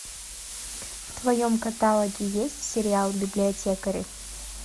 в твоем каталоге есть сериал библиотекари